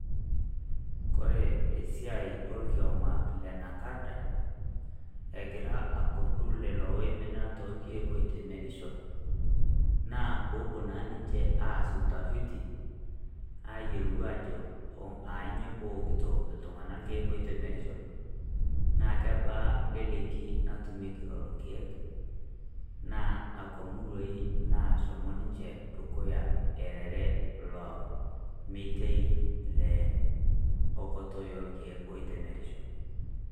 Kore esiaai orkioma le NACADA [cs egira akordu lelo oimina toorkiek oitemerisho, naa poo opo naa ninchee aas utafitii aiyelo ajoo anyoo po okutoo ltung'ana lkiek oitemerisho naa kebaa leleki natumieki lolo lkiek. Naa akwa murruai nashomoo ninchee dukuya arere loo metei le okotoi o lkiek oitemerisho.